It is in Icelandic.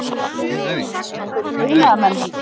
Einhverjir iðnaðarmenn líka.